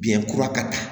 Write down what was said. Biyɛn kura ka taa